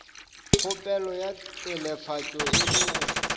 kgopelo ya telefatšo e lego